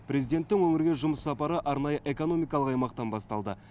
президенттің өңірге жұмыс сапары арнайы экономикалық аймақтан басталды